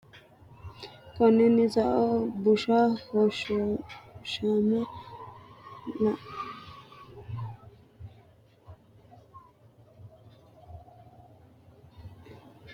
Konninnino sao, bushshu hoshooshama lolahunni bushsha haa’re ratenni kalaqamanno duunamino bushshinni lagga, xashshuwanna wolu wayi batinye xeisanno, konne maxaafa la”a dandeemmo?